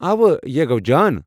اوہ، یہِ ہے گوٚو جان۔